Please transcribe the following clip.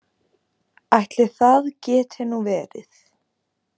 Ætli það geti nú verið.